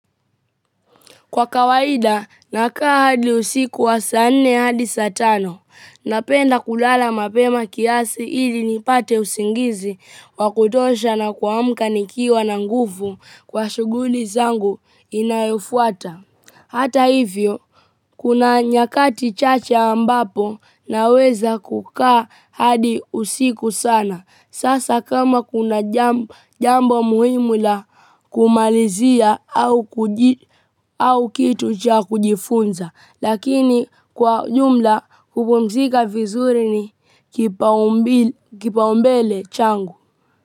Kwa kawaida, nakaa hadi usiku wa saa nne hadi saa tano. Napenda kulala mapema kiasi ili nipate usingizi wa kutosha na kuamka nikiwa na nguvu kwa shughuli zangu inayofuata. Hata hivyo kuna nyakati chache ambapo naweza kukaa hadi usiku sana. Sasa kama kuna jambo muhimu la kumalizia au kitu cha kujifunza, lakini kwa jumla kupumzika vizuri ni kipao mbele changu.